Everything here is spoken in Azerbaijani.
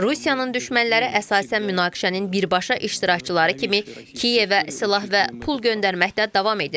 Rusiyanın düşmənləri əsasən münaqişənin birbaşa iştirakçıları kimi Kiyevə silah və pul göndərməkdə davam edir.